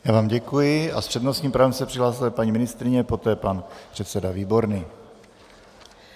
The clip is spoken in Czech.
Já vám děkuji a s přednostním právem se přihlásila paní ministryně, poté pan předseda Výborný.